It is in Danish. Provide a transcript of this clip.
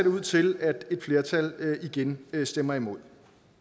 ud til at et flertal igen stemmer imod